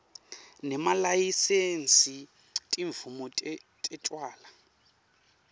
nemalayisensi timvumo tetjwala